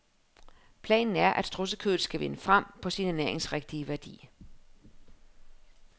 Planen er, at strudsekødet skal vinde frem på sin ernæringsrigtige værdi.